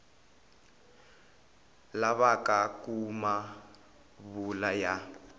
lavaka ku ma vula ya